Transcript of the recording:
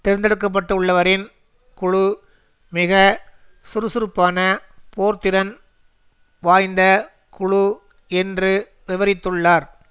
தேர்ந்தெடுக்கப்பட்டுள்ளவரின் குழு மிக சுறுசுறுப்பான போர்த்திறன் வாய்ந்த குழு என்று விவரித்துள்ளார்